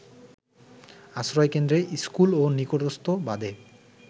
আশ্রয়কেন্দ্র, school ও নিকটস্থ বাঁধে